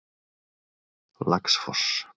Laxfoss